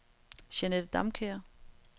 Jeanette Damkjær